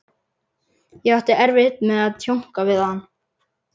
Ég átti erfitt með að tjónka við hann.